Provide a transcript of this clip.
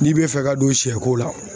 N'i bɛ fɛ ka don sɛko la o